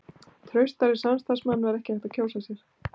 Traustari samstarfsmann var ekki hægt að kjósa sér.